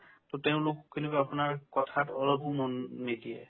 to তেওঁলোক কেনেকুৱা আপোনাৰ কথাত অলপো মন নিদিয়ে